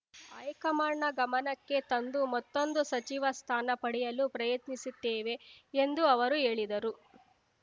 ಹೈಕಮಾಂಡ್‌ನ ಗಮನಕ್ಕೆ ತಂದು ಮತ್ತೊಂದು ಸಚಿವ ಸ್ಥಾನ ಪಡೆಯಲು ಪ್ರಯತ್ನಿಸುತ್ತೇವೆ ಎಂದು ಅವರು ಹೇಳಿದರು